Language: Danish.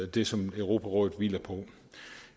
det som europarådet hviler på